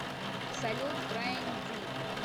салют крэйг дэвид